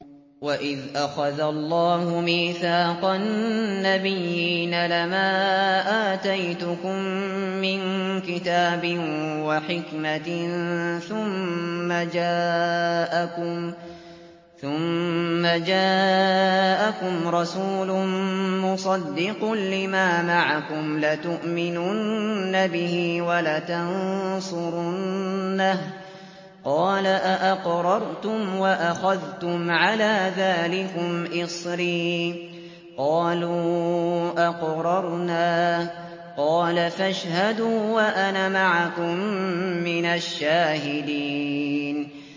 وَإِذْ أَخَذَ اللَّهُ مِيثَاقَ النَّبِيِّينَ لَمَا آتَيْتُكُم مِّن كِتَابٍ وَحِكْمَةٍ ثُمَّ جَاءَكُمْ رَسُولٌ مُّصَدِّقٌ لِّمَا مَعَكُمْ لَتُؤْمِنُنَّ بِهِ وَلَتَنصُرُنَّهُ ۚ قَالَ أَأَقْرَرْتُمْ وَأَخَذْتُمْ عَلَىٰ ذَٰلِكُمْ إِصْرِي ۖ قَالُوا أَقْرَرْنَا ۚ قَالَ فَاشْهَدُوا وَأَنَا مَعَكُم مِّنَ الشَّاهِدِينَ